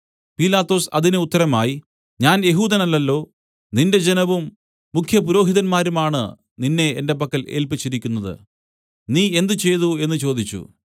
പീലാത്തോസ് അതിന് ഉത്തരമായി ഞാൻ യെഹൂദനല്ലല്ലോ നിന്റെ ജനവും മുഖ്യപുരോഹിതന്മാരുമാണ് നിന്നെ എന്റെ പക്കൽ ഏല്പിച്ചിരിക്കുന്നത് നീ എന്ത് ചെയ്തു എന്നു ചോദിച്ചു